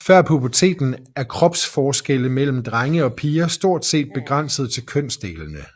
Før puberteten er kropsforskelle mellem drenge og piger stort set begrænset til kønsdelene